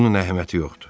Bunun əhəmiyyəti yoxdur.